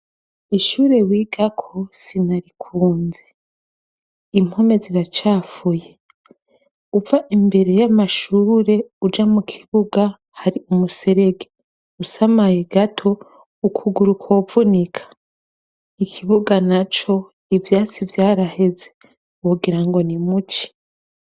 Ishure wigako sinarikunze. Impome ziracafuye. Uva imbere y'amashure uja mu kibuga, hari umuserege. Usamaye gato, ukuguru kwovunika. Ikibuga naco, ivyatsi vyaraheze. Wogira ngo ni mu ci.